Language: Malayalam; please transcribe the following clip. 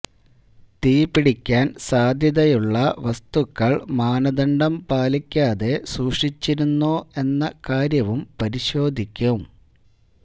തീപിടിക്കാന് സാധ്യതയുള്ള വസ്തുക്കള് മാനദണ്ഡം പാലിക്കാതെ സൂക്ഷിച്ചിരുന്നോ എന്ന കാര്യവും പരിശോധിക്കും